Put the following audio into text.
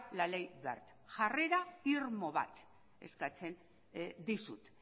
la ley wert jarrera irmo bat eskatzen dizut